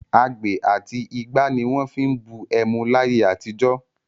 Agbè àti igbá ni wọ́n fi ń bu ẹmu láyé àtijọ́.